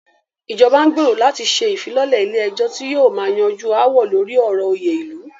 Ìjọba n gbérò láti ṣe ìfilọ́lẹ̀ ilé ẹ̀jọ́ tí yóò máà yanjú aáwọ̀ lórí ọ̀rọ̀ òyè ilu.